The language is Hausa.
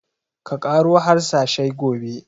Ka ƙaro harsashai gobe!